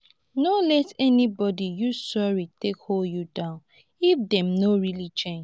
no let anybody use sorry take hold you down if dem no really change.